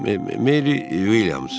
Meri Williams.